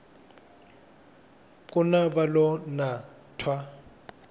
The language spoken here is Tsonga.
nkuna va lo na twa